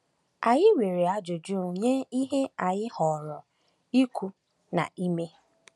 Anyị nwere ajụjụ nye ihe anyị họọrọ ikwu na ime.